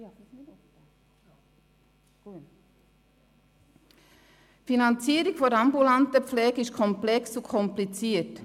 Die Finanzierung der ambulanten Pflege ist komplex und kompliziert.